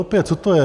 Opět, co to je?